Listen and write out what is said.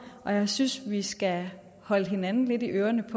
og jeg synes vi skal holde hinanden lidt i ørerne i